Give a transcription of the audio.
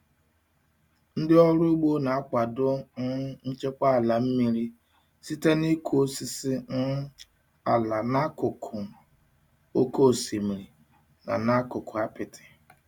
Ndị ọrụ ugbo na-akwado um nchekwa ala mmiri site n'ịkụ osisi um ala n'akụkụ oke osimiri na n'akụkụ apiti.